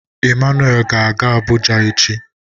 Emmanuel ga-aga Abuja echi.